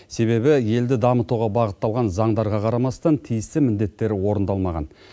себебі елді дамытуға бағытталған заңдарға қарамастан тиісті міндеттер орындалмаған